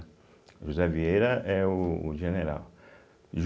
José Vieira é o o general